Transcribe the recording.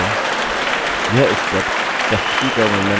यह step प्रस्तुति का वर्णन करता है